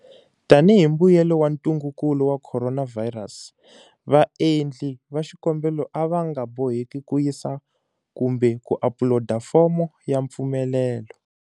Tanihi mbuyelo wa ntungukulu wa khoronavhayirasi, vaendli va xikombelo a va nga boheki ku yisa kumbe ku apuloda fomo ya mfumelelo.